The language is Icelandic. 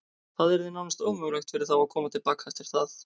Það yrði nánast ómögulegt fyrir þá að koma til baka eftir það.